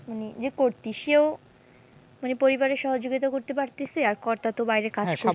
মানে যে কর্তী সেও মানে পরিবারের সহযোগিতা করতে পারতাছে, আর কর্তা তো বাইরে কাজ করছেনই।